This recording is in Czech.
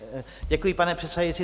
Děkuji, pane předsedající.